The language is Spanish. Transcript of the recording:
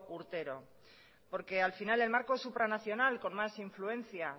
urtero porque al final el marco supranacional con más influencia